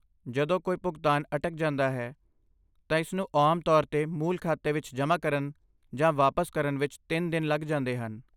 ਜਦੋਂ ਕੋਈ ਭੁਗਤਾਨ ਅਟਕ ਜਾਂਦਾ ਹੈ, ਤਾਂ ਇਸਨੂੰ ਆਮ ਤੌਰ 'ਤੇ ਮੂਲ ਖਾਤੇ ਵਿੱਚ ਜਮ੍ਹਾ ਕਰਨ ਜਾਂ ਵਾਪਸ ਕਰਨ ਵਿੱਚ ਤਿੰਨ ਦਿਨ ਲੱਗ ਜਾਂਦੇ ਹਨ।